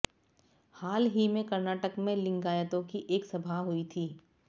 हाल ही में कर्नाटक में लिंगायतों की एक सभा हुई थी